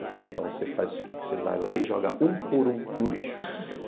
Eu falei, então você faz o seguinte, você vai lá e joga um por um no lixo.